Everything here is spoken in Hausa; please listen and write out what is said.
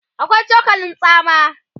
akwai cokalin tsama